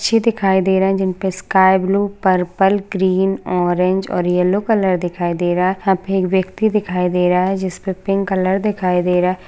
पक्षी दिखाई दे रहे जिनपे sky blue purple green orange और येल्लो कलर दिखाई दे रहा यहाँ पे एक व्यक्ति दिखाई दे रहा जिसपे पिक कलर दिखाई दे रहा--